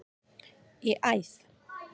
í æð.